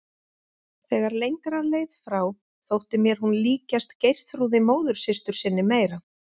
Þegar lengra leið frá þótti mér hún líkjast Geirþrúði móðursystur sinni meira.